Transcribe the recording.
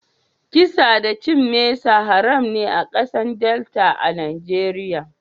Kisa da cin mesa haram ne a kasan Delta a'Nijeriya.